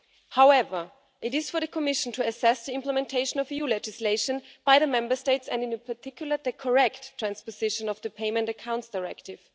However, it is for the Commission to assess the implementation of EU legislation by the Member States and in particular the correct transposition of the Payment Accounts Directive.